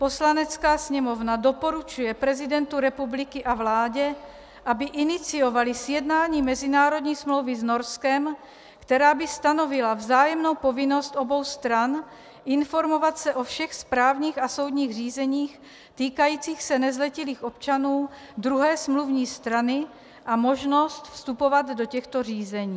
Poslanecká sněmovna doporučuje prezidentu republiky a vládě, aby iniciovali sjednání mezinárodní smlouvy s Norskem, která by stanovila vzájemnou povinnost obou stran informovat se o všech správních a soudních řízeních týkajících se nezletilých občanů druhé smluvní strany a možnost vstupovat do těchto řízení.